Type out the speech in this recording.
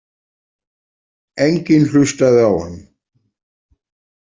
Enginn hlustaði á hann.